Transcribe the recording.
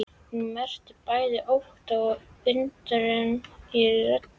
Hún merkir bæði ótta og undrun í röddinni.